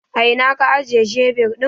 A ina ka ajiye shebir ɗin?